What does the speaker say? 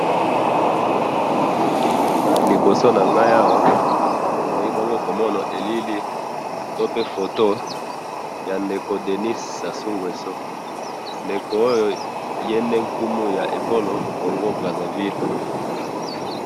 Naliboso nanga awa nazali bongo komona elili, to pe foto ya ndeko Denis sasungwesu, ndeko oyo, yende nkumu ya ekolo congo Brazzaville